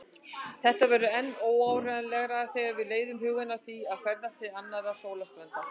Þetta verður enn óárennilegra þegar við leiðum hugann að því að ferðast til annarra sólstjarna.